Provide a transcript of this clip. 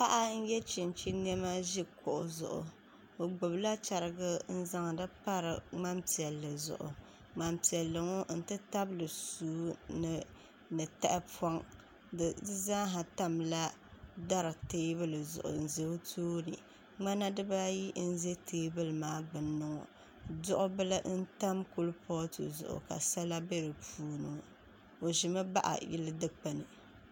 Paɣa n-ye chinchini nɛma n-ʒi kuɣu zuɣu o gbubila chiriga ŋmampiɛlli ŋɔ n-ti tabili sua ni taɣipɔŋ di zaa tamila teebuli zuɣu duɣubili n-tam kurifooti zuɣu ka sala be di puuni o ʒimi bahi yili dukpuni